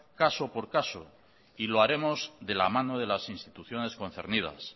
caso por caso y lo haremos de la mano de las instituciones concernidas